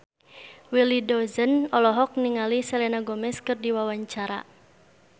Willy Dozan olohok ningali Selena Gomez keur diwawancara